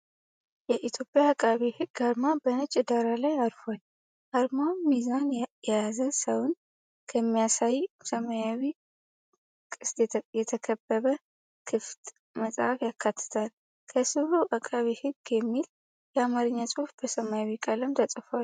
የኢትዮጵያ ዐቃቤ ሕግ አርማ በነጭ ዳራ ላይ አርፏል። አርማውም ሚዛን የያዘ ሰውን በሚያሳይ ሰማያዊ ቅስት የተከበበ ክፍት መጽሐፍ ያካትታል። ከሥሩ **“ዐቃቤ ሕግ”** የሚል የአማርኛ ጽሑፍ በሰማያዊ ቀለም ተጽፏል።